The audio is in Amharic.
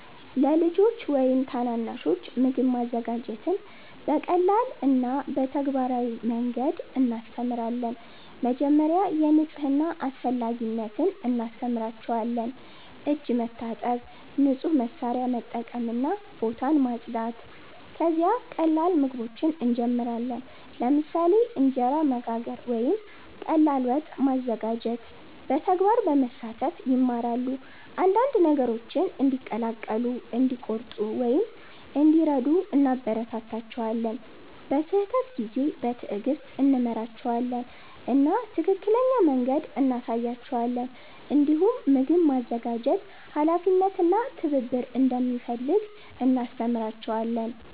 ለልጆች ወይም ታናናሾች ምግብ ማዘጋጀትን በቀላል እና በተግባራዊ መንገድ እናስተምራለን። መጀመሪያ የንጽህና አስፈላጊነት እናስተምራቸዋለን፤ እጅ መታጠብ፣ ንጹህ መሳሪያ መጠቀም እና ቦታ ማጽዳት። ከዚያ ቀላል ምግቦችን እንጀምራለን፣ ለምሳሌ እንጀራ መጋገር ወይም ቀላል ወጥ ማዘጋጀት። በተግባር በመሳተፍ ይማራሉ፤ አንዳንድ ነገሮችን እንዲቀላቀሉ፣ እንዲቆርጡ ወይም እንዲረዱ እናበረታታቸዋለን። በስህተት ጊዜ በትዕግስት እንመራቸዋለን እና ትክክለኛ መንገድ እንሳያቸዋለን። እንዲሁም ምግብ ማዘጋጀት ኃላፊነት እና ትብብር እንደሚፈልግ እናስተምራቸዋለን።